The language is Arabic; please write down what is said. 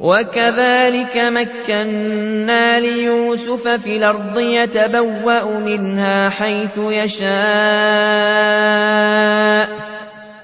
وَكَذَٰلِكَ مَكَّنَّا لِيُوسُفَ فِي الْأَرْضِ يَتَبَوَّأُ مِنْهَا حَيْثُ يَشَاءُ ۚ